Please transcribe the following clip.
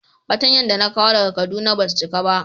Fatanya da na kawo daga kaduna ba su cika ba.